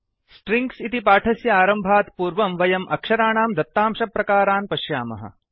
strings इति पाठस्य आरम्भात् पूर्वम् वयम् अक्षराणां दत्तांशप्रकारान् पश्यामः